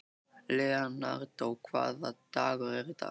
Leonardó, hvaða dagur er í dag?